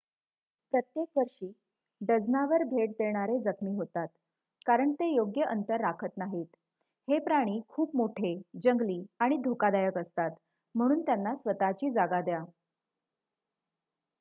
प्रत्येक वर्षी डझनावर भेट देणारे जखमी होतात कारण ते योग्य अंतर राखत नाहीत. हे प्राणी खूप मोठे जंगली आणि धोकादायक असतात म्हणून त्यांना स्वत:ची जागा द्या